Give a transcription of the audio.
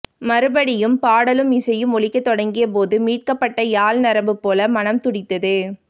மறுபடியும் பாடலும் இசையும் ஒலிக்கத் தொடங்கிய போது மீட்டப்பட்ட யாழ் நரம்பு போல மனம் துடித்தது